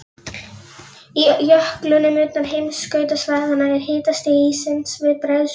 Í jöklum utan heimskautasvæðanna er hitastig íssins við bræðslumark.